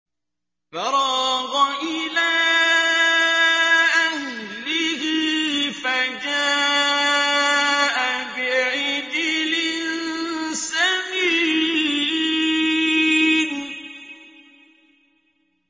فَرَاغَ إِلَىٰ أَهْلِهِ فَجَاءَ بِعِجْلٍ سَمِينٍ